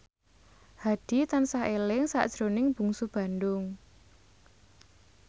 Hadi tansah eling sakjroning Bungsu Bandung